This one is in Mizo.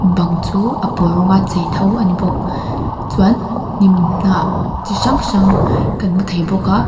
bang chu a pawl rawng chei tho a ni bawk chuan hnim hnah chi hrang hrang kan hmu thei bawk a.